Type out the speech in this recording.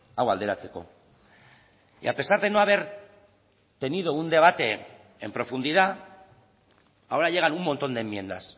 hau alderatzeko y a pesar de no haber tenido un debate en profundidad ahora llegan un montón de enmiendas